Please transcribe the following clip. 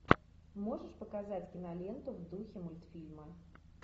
можешь показать киноленту в духе мультфильма